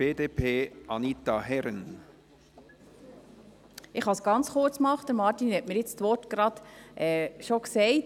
Ich kann es ganz kurz machen, Martin Schlup hat jetzt die Worte bereits gesagt.